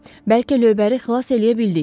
Bəlkə lövbəri xilas eləyə bildik.